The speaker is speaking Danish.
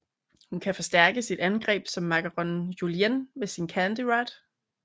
Hun kan forstærke sit angreb som Macaron Julien med sin Candy Rod